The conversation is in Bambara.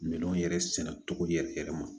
Minɛnw yɛrɛ sɛnɛ cogo yɛrɛ yɛrɛ ma